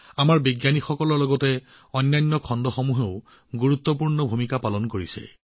আমাৰ বিজ্ঞানীসকলৰ লগতে আন খণ্ডসমূহেও চন্দ্ৰযান৩ৰ সফলতাত গুৰুত্বপূৰ্ণ ভূমিকা পালন কৰিছে